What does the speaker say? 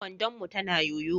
kwandon mu tana yoyo.